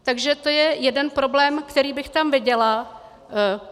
Takže to je jeden problém, který bych tam viděla.